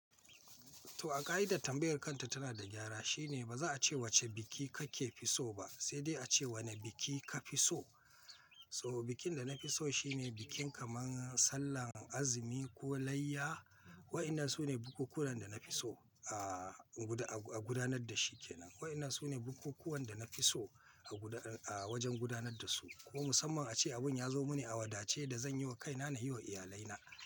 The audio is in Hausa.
To a ka'idar tambayar kanta tana da gyara shine ba za a ce wacce biki kake fi so ba, sai dai a ce wane biki ka fi so. So bikin da na fi so shine bikin kamar Sallar Azumi ko Layya, wa'inan su ne bukukuwan da na fi so a gudanar da shi ke nan. Wa'inan su ne bukukuwan da na fi so a wajen gudanar da su. Ko musamman a ce abin ya zo mini a wadace yadda zan yi wa kaina na yi wa iyalai na.